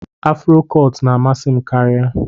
Afro cọt na amasi kari m.